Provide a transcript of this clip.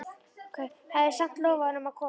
Hafði samt lofað honum að koma.